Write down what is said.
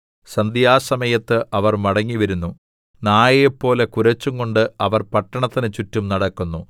സന്ധ്യാസമയത്ത് അവർ മടങ്ങിവരുന്നു നായെപ്പോലെ കുരച്ചുകൊണ്ട് അവർ പട്ടണത്തിന് ചുറ്റും നടക്കുന്നു